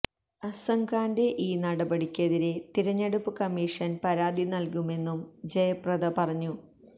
അസംഖാന്റെ ഈ നടപടിക്കെതിരെ തിരഞ്ഞെടുപ്പ് കമ്മീഷന് പരാതി നല്കുമെന്നും ജയപ്രദ പറഞ്ഞു